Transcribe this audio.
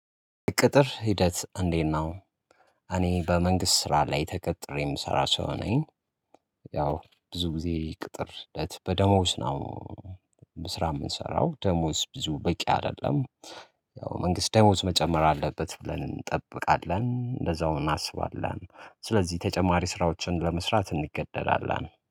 ቅጥር ሂደት እንዴት ነው? እኔ በመንግስት ስራ ላይ ተቀጥሬ የምሰራ ሰው ነኝ። ያው ብዙ ጊዜ ቅጥር እለት በደሞዝ ነው። ስራ የምንሰራው ደሞዝ ብዙ በቂ አይደለም። ያው መንግስት ደሞዝ መጨመር አለበት ብለን እንጠብቃለን እንደዛው እናስባለን። ስለዚህ ተጨማሪ ስራዎችን ለመስራት እንገደላለን